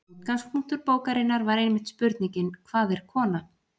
Útgangspunktur bókarinnar var einmitt spurningin Hvað er kona?